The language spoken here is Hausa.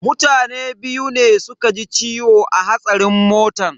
Mutane biyu ne suka ji ciwo a hatsarin motan.